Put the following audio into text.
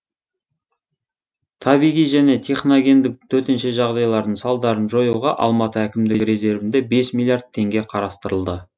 табиғи және техногендік төтенше жағдайлардың салдарын жоюға алматы әкімдігі резервінде бес миллиард теңге қарастырылды